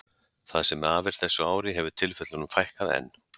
Það sem af er þessu ári hefur tilfellunum fækkað enn.